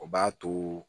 O b'a to